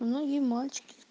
многие мальчики